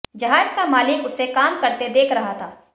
जहाज का मालिक उसे काम करते देख रहा था